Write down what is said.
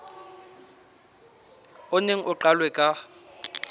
o neng o qalwe ka